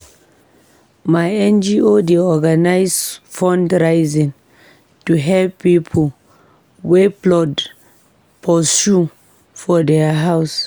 My NGO dey organise fundraising to help pipo wey flood pursue for their house.